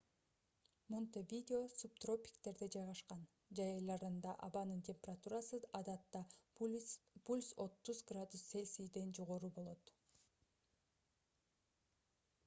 монтевидео субтропиктерде жайгашкан; жай айларында абанын температурасы адатта + 30°c жогору болот